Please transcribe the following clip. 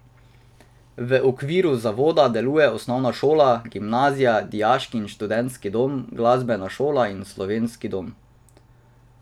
V okviru zavoda delujejo osnovna šola, gimnazija, dijaški in študentski dom, glasbena šola in Slovenski dom.